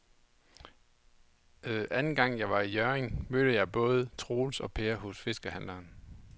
Anden gang jeg var i Hjørring, mødte jeg både Troels og Per hos fiskehandlerne.